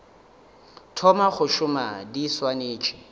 thoma go šoma di swanetše